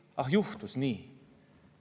Ah juhtus nii!